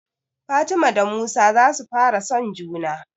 Fatima da Musa za su fara son juna